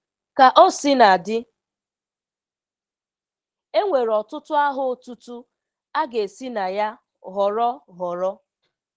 Ka o sina dị, e nwere ọtụtụ aha otutu a ga-esi na ya họrọ họrọ